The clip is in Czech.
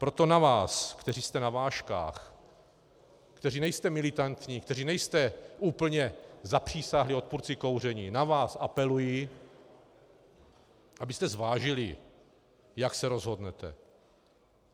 Proto na vás, kteří jste na vážkách, kteří nejste militantní, kteří nejste úplně zapřísáhlí odpůrci kouření, na vás apeluji, abyste zvážili, jak se rozhodnete.